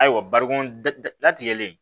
Ayiwa barikon datigɛlen